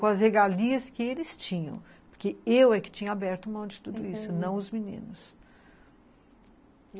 Com as regalias que eles tinham, porque eu é que tinha aberto mão de tudo isso, entendi, não os meninos.